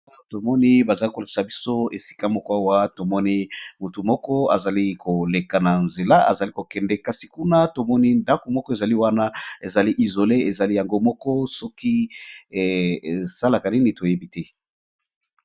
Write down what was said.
Ba tomoni bazali kolokisa biso esika moko awa tomoni motu moko azali koleka na nzela azali kokende kasi kuna tomoni ndaku moko ezali wana ezali izole ezali yango moko soki esalaka nini toyebi te.